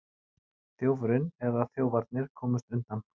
Þjófurinn eða þjófarnir komust undan